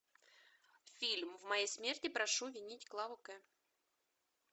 фильм в моей смерти прошу винить клаву к